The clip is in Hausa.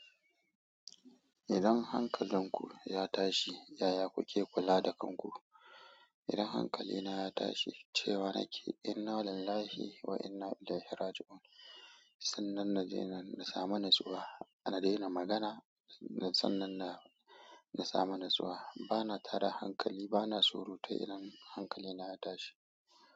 Idan hankalinku ya tashi, yaya kuke kula da kanku? Idan hankalina ya tashi, cewa nake inna illahi wa inna ilaihi raji'un. San nan na najenan, na samu natsuwa. Na daina magana, san nan na, na samu natsuwa. Bana tada hankali, bana tsoro ta iran hankalina ya tashi.